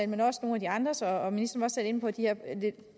men nu også nogle af de andres og ministeren selv inde på de her lidt